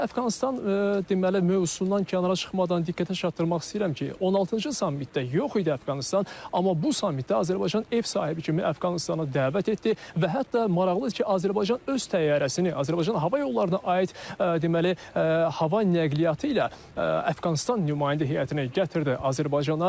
Elə Əfqanıstan deməli mövzusundan kənara çıxmadan diqqətə çatdırmaq istəyirəm ki, 16-cı samitdə yox idi Əfqanıstan, amma bu samitdə Azərbaycan ev sahibi kimi Əfqanıstanı dəvət etdi və hətta maraqlıdır ki, Azərbaycan öz təyyarəsini, Azərbaycan hava yollarına aid deməli hava nəqliyyatı ilə Əfqanıstan nümayəndə heyətini gətirdi Azərbaycana.